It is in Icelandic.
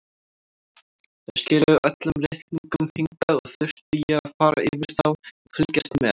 Þær skiluðu öllum reikningum hingað og þurfti ég að fara yfir þá og fylgjast með.